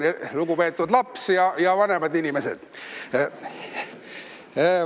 Õigemini, lugupeetud laps ja vanemad inimesed!